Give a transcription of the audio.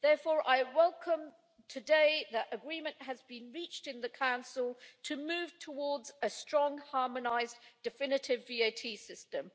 Therefore, I welcome today the fact that agreement has been reached in the Council to move towards a strong, harmonised, definitive VAT system.